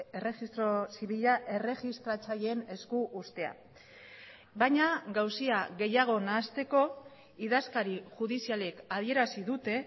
erregistro zibila erregistratzaileen esku uztea baina gauza gehiago nahasteko idazkari judizialek adierazi dute